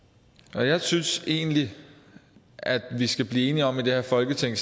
så jeg synes egentlig at vi snart skal blive enige om i det her folketing